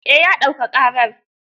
Eh, ya dauka ƙarar.